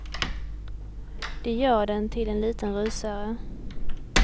De gör den till en liten rysare.